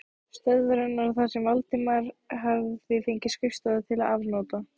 stöðvarinnar þar sem Valdimar hafði fengið skrifstofu til afnota.